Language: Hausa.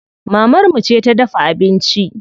Mamar mu ce ta dafa abinci.